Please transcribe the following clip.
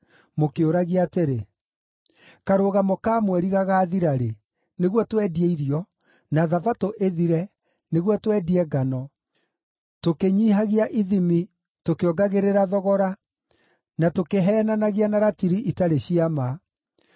mũkĩũragia atĩrĩ, “Karũgamo ka Mweri gagaathira-rĩ, nĩguo twendie irio, na Thabatũ ĩthire, nĩguo twendie ngano, tũkĩnyiihagia ithimi, tũkĩongagĩrĩra thogora, na tũkĩheenanagia na ratiri itarĩ cia ma;